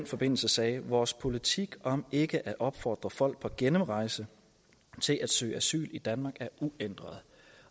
forbindelse sagde vores politik om ikke at opfordre folk på gennemrejse til at søge asyl i danmark er uændret